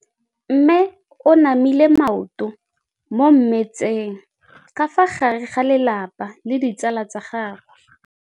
Mme o namile maoto mo mmetseng ka fa gare ga lelapa le ditsala tsa gagwe.